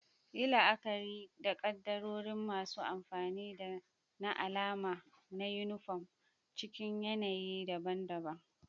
Yi la'akari da kaddarorin masu amfani da na alama na yunifom a cikin yanayi daban-daban.